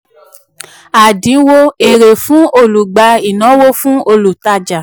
àdínwó èrè fún olùgbà ìnáwó fún olùtajà